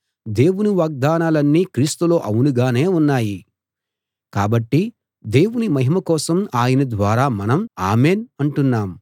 దేవుని వాగ్దానాలన్నీ క్రీస్తులో అవును గానే ఉన్నాయి కాబట్టి దేవుని మహిమ కోసం ఆయన ద్వారా మనం ఆమెన్ అంటున్నాం